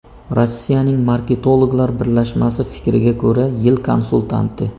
Rossiyaning marketologlar birlashmasi fikriga ko‘ra, yil konsultanti.